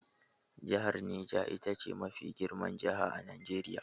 Jahar Neja ita ce mafi girman jaha a Najeriya.